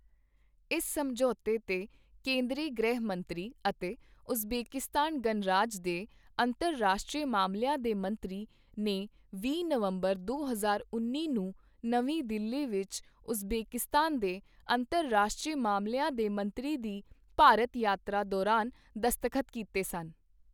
ਇਸ ਸਮਝੌਤੇ ਤੇ ਕੇਂਦਰੀ ਗ੍ਰਹਿ ਮੰਤਰੀ ਅਤੇ ਉਜ਼ਬੇਕਿਸਤਾਨ ਗਣਰਾਜ ਦੇ ਅੰਤਰਰਾਸ਼ਟਰੀ ਮਾਮਲਿਆਂ ਦੇ ਮੰਤਰੀ ਨੇ ਵੀਹ ਨਵੰਬਰ, ਦੋ ਹਜ਼ਾਰ ਉੱਨੀ ਨੂੰ ਨਵੀਂ ਦਿੱਲੀ ਵਿੱਚ ਉਜ਼ਬੇਕਿਸਤਾਨ ਦੇ ਅੰਤਰਰਾਸ਼ਟਰੀ ਮਾਮਲਿਆਂ ਦੇ ਮੰਤਰੀ ਦੀ ਭਾਰਤ ਯਾਤਰਾ ਦੌਰਾਨ ਦਸਤਖ਼ਤ ਕੀਤੇ ਸਨ।